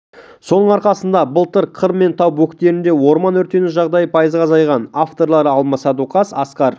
соның арқасында былтыр қыр мен тау бөктерінде орман өртену жағдайы пайызға азайған авторлары алмас садуақас асқар